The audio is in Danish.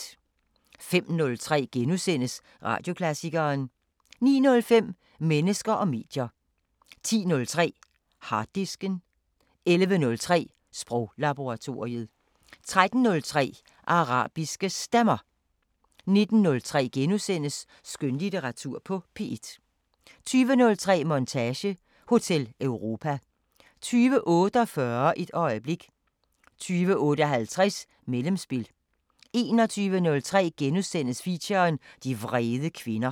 05:03: Radioklassikeren * 09:05: Mennesker og medier 10:03: Harddisken 11:03: Sproglaboratoriet 13:03: Arabiske Stemmer 19:03: Skønlitteratur på P1 * 20:03: Montage: Hotel Europa 20:48: Et øjeblik 20:58: Mellemspil 21:03: Feature: De vrede kvinder *